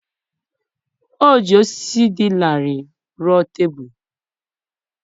O ji osisi dị larịị rụọ tebụl.